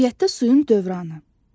Təbiətdə suyun dövranı.